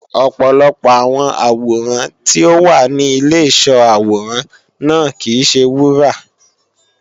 ọ̀pọ̀lọpọ̀ àwọn àwòrán tí ó wà ní Ìlé ìsó àwòrán náà kìí se wúrà